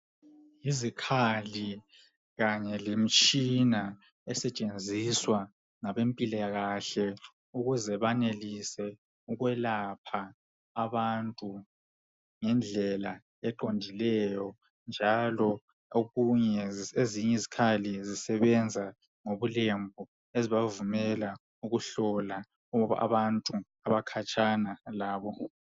Yizikhali kanye lemitshina esetshenziswa ngabempilakahle ukuze banelise ukwelapha abantu ngendlela eqondileyo njalo ezinye izikhali zisebenza ngobulembu ezibavumela ukuhlola abantu abakhatshana labo.